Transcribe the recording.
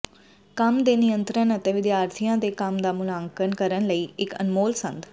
ਕੰਮ ਦੇ ਨਿਯੰਤਰਣ ਅਤੇ ਵਿਦਿਆਰਥੀਆਂ ਦੇ ਕੰਮ ਦਾ ਮੁਲਾਂਕਣ ਕਰਨ ਲਈ ਇਕ ਅਨਮੋਲ ਸੰਦ